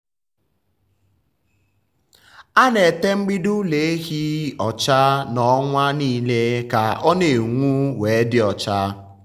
a na-ete mgbidi ụlọ ehi ọcha na ọnwa nile ka o na-enwu we dị ọcha.